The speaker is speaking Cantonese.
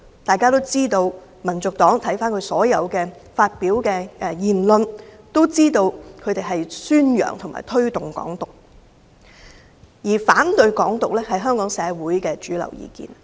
眾所周知，翻看香港民族黨發表的所有言論，便知道他們宣揚和推動"港獨"，而反對"港獨"是香港社會的主流意見。